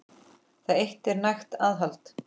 Það eitt er nægt aðhald.